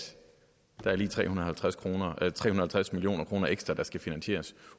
der lige er tre hundrede og halvtreds million kroner ekstra der skal finansieres